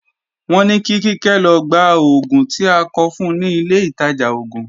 Wọ́n ní kí Kíkẹ́ lọ gba oògùn tí a kọ fun ni ilé ìtajà oògùn